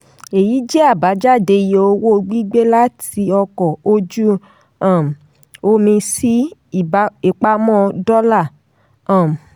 èyí jẹ́ àbájáde iye owó gbígbé láti ọkọ̀ ojú um omi sí ibi ìpamọ́ dollar. um